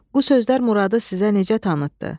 Bu sözler Muradı sizə necə tanıtdı?